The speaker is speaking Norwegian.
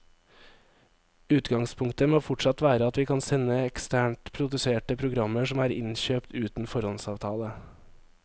Utgangspunktet må fortsatt være at vi kan sende eksternt produserte programmer som er innkjøpt uten foråndsavtale.